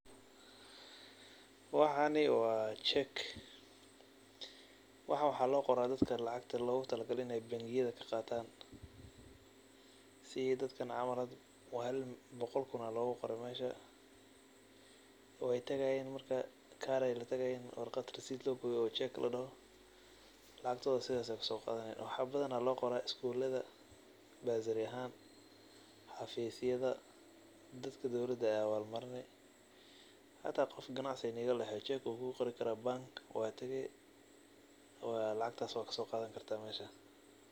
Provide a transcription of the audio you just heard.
Waxani wa check. Waxani waxa loqora dadka lacagta logutalagalay in ey bangiyada kaqatan si ey dadka camal hada boqol kuun aya loguqore meesha , wey tagayin oo warqad logoye oo check ladoho ayey latagayin lacagtoda sidas ayey kusoqadanayin. Waxa badan loqora skulada bursary ahaan, xafisyada, dadka dowlada ey awal marini hata qof uu ganacsi idinka dhexeyo wukuqori kara bangiga tagi wad soqadani